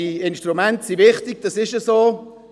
Diese Instrumente sind aber wichtig, das ist so.